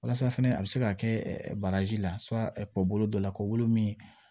Walasa fɛnɛ a be se ka kɛ baraji la bolo dɔ la kɔolo min